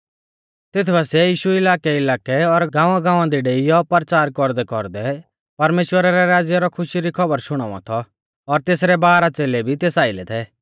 तेथ बासिऐ यीशु इलाकैइलाकै और गाँवागाँवा दी डेइयौ परचार कौरदैकौरदै परमेश्‍वरा रै राज़्या रौ खुशी री खौबर शुणाउवा थौ और तेसरै बारह च़ेलै भी तेस आइलै थै